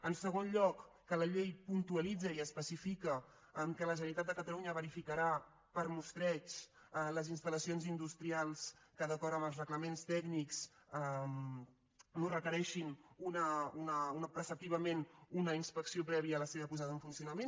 en segon lloc que la llei puntualitza i especifica que la generalitat de catalunya verificarà per mostreig les instal·lacions industrials que d’acord amb els reglaments tècnics no requereixin preceptivament una inspecció prèvia a la seva posada en funcionament